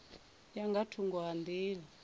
ya nga thungo ha nḓila